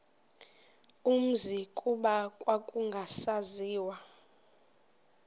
umzi kuba kwakungasaziwa